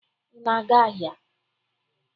Ị na-aga ahịa?